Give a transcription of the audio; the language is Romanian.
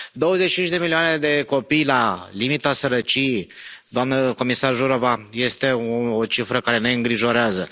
Douăzeci și cinci de milioane de copii la limita sărăciei, doamnă comisară Jourová, este o cifră care ne îngrijorează.